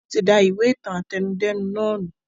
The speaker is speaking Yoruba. Wọn tí da ìwé ìtàn àtẹnudẹ́nu nàá nù